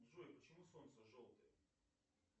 джой почему солнце желтое